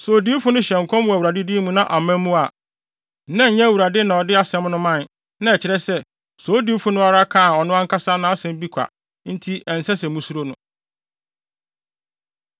Sɛ odiyifo no hyɛ nkɔm wɔ Awurade din mu na amma mu a, na ɛnyɛ Awurade na ɔde asɛm no mae. Na ɛkyerɛ sɛ, saa odiyifo no ara kaa ɔno ankasa nʼasɛm bi kwa enti ɛnsɛ sɛ musuro.